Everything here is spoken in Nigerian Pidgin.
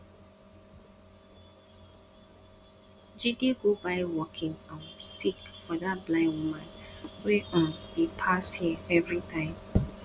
jide go buy walking um stick for dat blind woman wey um dey pass here everytime